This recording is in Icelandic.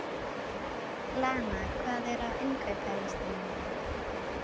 Lana, hvað er á innkaupalistanum mínum?